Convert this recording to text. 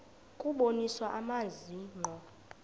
kubonisa amazwi ngqo